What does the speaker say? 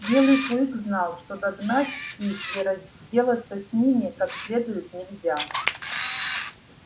белый клык знал что догнать их и разделаться с ними как следует нельзя